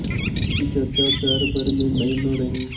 उसकी चर्चा शहर भर में महीनों रही